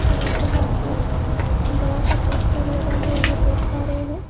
यहाँ पे हम एक बड़ा-सा पोस्टर लगा हुआ है देख पा रहे है।